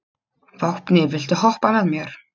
Vápni, viltu hoppa með mér?